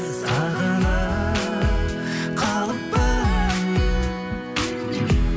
сағынып қалыппын